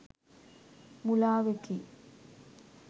මුළාවකි.